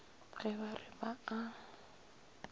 ge ba re ba a